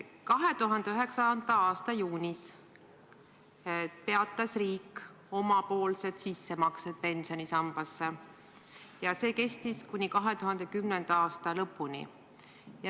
2009. aasta juunis peatas riik omapoolsed sissemaksed teise pensionisambasse ja see kestis kuni 2010. aasta lõpuni.